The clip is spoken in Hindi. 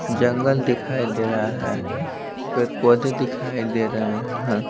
जंगल दिखाई दे रहा है फिर पौधे दिखाई दे रहे हैं।